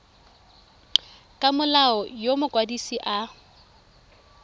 ka molao yo mokwadise a